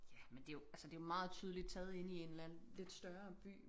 Ja men det jo altså det jo meget tydeligt taget inde i en eller anden lidt større by